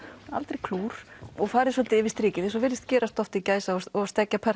aldrei klúr og farið svolítið yfir strikið eins og virðist gerast oft í gæsa og